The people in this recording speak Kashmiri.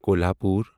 کۄلہاپوٗر